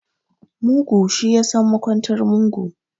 Mugu, shi ya san makwantar mugu.